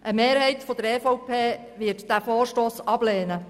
Eine Mehrheit der EVP wird diesen Vorstoss ablehnen.